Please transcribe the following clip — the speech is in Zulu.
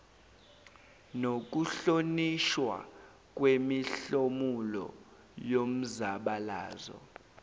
nokuhlonishwa kwemihlomulo yomzabalazo